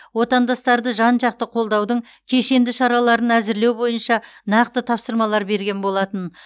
отандастарды жан жақты қолдаудың кешенді шараларын әзірлеу бойынша нақты тапсырмалар берген болатын